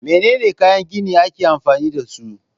Menene kayan gini ake amfani dasu?